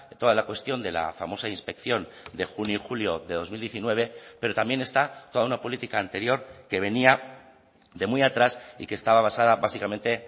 toda la cuestión de la famosa inspección de junio y julio de dos mil diecinueve pero también está toda una política anterior que venía de muy atrás y que estaba basada básicamente